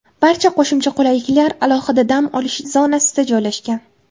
Barcha qo‘shimcha qulayliklar alohida dam olish zonasida joylashgan.